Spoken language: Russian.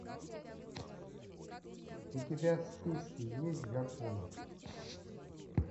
у тебя в списке есть гарпун